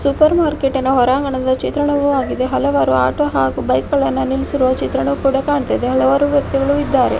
Super market ಹೊರಾಂಗಣದ ಚಿತ್ರವಾಗಿದೆ ಹಲವಾರು ಆಟೋ ಹಾಗೂ ಬೈಕ್ ಗಳನ್ನು ನಿಲ್ಲಿಸುವ ಚಿತ್ರಣ ಕೂಡಾ ಕಾಣ್ತಿದೆ ಹಲವಾರು ವ್ಯಕ್ತಿಗಳು ಇದ್ದಾರೆ.